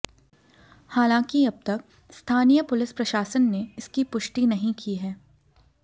हालांकि अब तक स्थानीय पुलिस प्रशासन ने इसकी पुष्टि नहीं की है